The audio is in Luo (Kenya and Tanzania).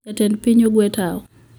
Jatend piny ogwe tao